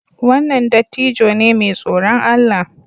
Wannan dattijo ne mai tsoron Allah